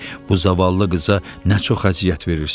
Bu zavallı qıza nə çox əziyyət verirsən?